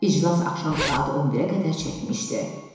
İclas axşam saat 11-ə qədər çəkmişdi.